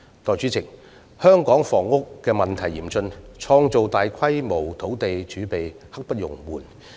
代理主席，香港的房屋問題嚴峻，創造大規模土地儲備刻不容緩。